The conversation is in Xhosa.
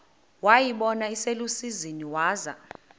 wayibona iselusizini waza